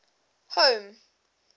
home